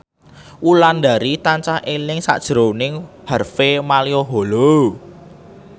Wulandari tansah eling sakjroning Harvey Malaiholo